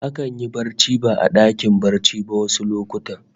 Akan yi barci ba a dakin barci ba wasu lokuta